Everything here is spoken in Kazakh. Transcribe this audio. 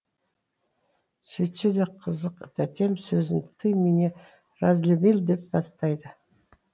сөйтсе де қызық тәтем сөзін ты меня разлюбил деп бастайды